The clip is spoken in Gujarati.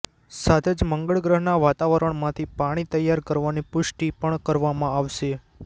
સાથે જ મંગળ ગ્રહનાં વાતાવરણમાંથી પાણી તૈયાર કરવાની પુષ્ટિ પણ કરવામાં આવશે